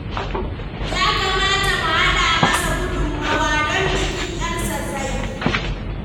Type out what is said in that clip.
Ya kamata mu haɗa masa gudunmowa don bikin 'yarsa zai yi.